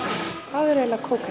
eru eiginlega